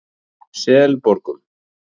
Selborgum